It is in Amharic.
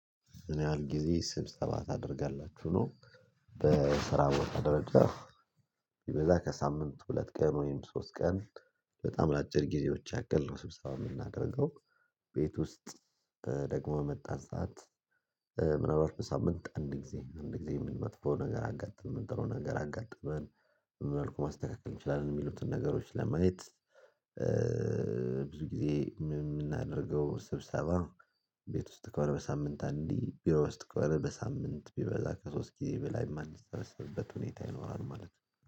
ምን ያህል ጊዜ ስብሰባ ታደርጋላችሁ ነው? በስራ ወጥ ደረጃ ቢበዛ ከሳምንት ሁለት ቀን ወይም ሶስት ቀን በጣም ለአጭር ጊዜዎች ያክል ነው ስብሰባ የምናደርገው። ቤት ውስጥ ደግሞ የመጣን ሰዓት። ምናልባት በሳምንት አንድ ጊዜ አንድ ጊዜ የምን መጥፎ ነገር አጋጥም ጥሩ ነገር አጋጠመን መልኩ ማስተካከል እንችላለን የሚሉትን ነገሮች ለማየት። ጊዜ የምናደርገው ስብሰባ። ቤት ውስጥ ከሆነ በሳምንት አንዴ ቢሮ ውስጥ ከሆነ በሳምንት ቢበዛ ከሶስት ጊዜ በላይ የማንሰበስብበት ሁኔታ ይኖራል ማለት ነው